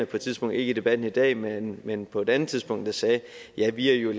på et tidspunkt ikke i debatten i dag men men på et andet tidspunkt sagde at vi jo